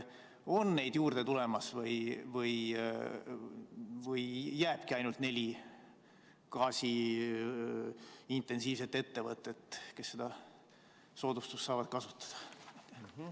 On neid juurde tulemas või jääbki ainult neli gaasi-intensiivset ettevõtet, kes seda soodustust saavad kasutada?